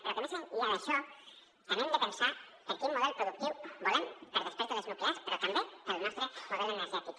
però més enllà d’això també hem de pensar quin model productiu volem per després de les nuclears però també per al nostre model energètic